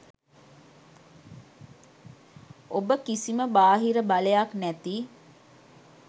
ඔබ කිසිම බාහිර බලයක් නැති